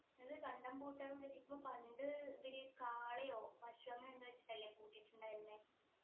എന്ത് കണ്ടം പൂട്ടാന്ന് വിചാരിക്കുമ്പോ പണ്ട് ഇവര് കാളയോ പശുവോ അങ്ങനെ എന്തൊ വെച്ചിട്ടല്ലേ പൂട്ടിയിട്ടുണ്ടായിരുന്നെ